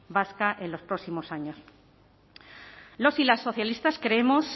vasca en los próximos años los y las socialistas creemos